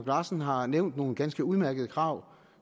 larsen har nævnt nogle ganske udmærkede krav